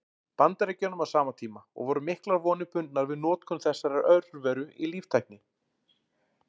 Bandaríkjunum á sama tíma, og voru miklar vonir bundnar við notkun þessara örvera í líftækni.